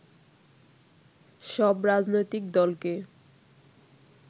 সব রাজনৈতিক দলকে